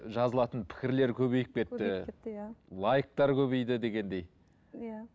жазылатын пікірлер көбейіп кетті көбейіп кетті иә лайктер көбейді дегендей иә